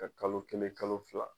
Ka kalo kelen kalo fila